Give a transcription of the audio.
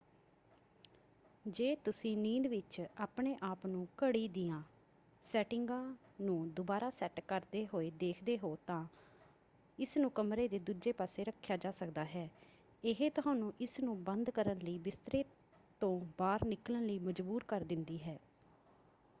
ਜੇ ਤੁਸੀਂ ਨੀਂਦ ਵਿੱਚ ਆਪਣੇ ਆਪ ਨੂੰ ਘੜੀ ਦੀਆਂ ਸੈਟਿੰਗਾਂ ਨੂੰ ਦੁਬਾਰਾ ਸੈੱਟ ਕਰਦੇ ਹੋਏ ਦੇਖਦੇ ਹੋ ਤਾਂ ਇਸਨੂੰ ਕਮਰੇ ਦੇ ਦੂਜੇ ਪਾਸੇ ਰੱਖਿਆ ਜਾ ਸਕਦਾ ਹੈ ਇਹ ਤੁਹਾਨੂੰ ਇਸਨੂੰ ਬੰਦ ਕਰਨ ਲਈ ਬਿਸਤਰੇ ਤੋਂ ਬਾਹਰ ਨਿਕਲਣ ਲਈ ਮਜਬੂਰ ਕਰ ਦਿੰਦੀ ਹੈ।